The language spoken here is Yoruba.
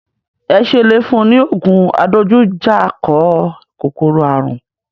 Ẹ ṣe le fún un ní ògùn adojújà kọ kòkòrò àrùn?